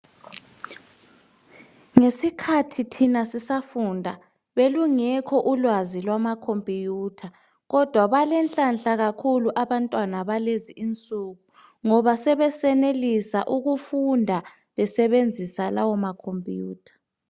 Ngesikhathi thina sisafunda, belungekho ulwazi lwama okhomphiyutha. Kodwa balenhlanhla abantwana balezi insuku ngoba sebeyenelisa ukufunda ukusebenzisa lawo makhophiyutha.